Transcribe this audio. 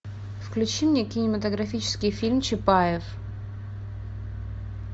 включи мне кинематографический фильм чапаев